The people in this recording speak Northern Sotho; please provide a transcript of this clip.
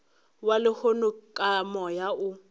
wa lehono ka moya o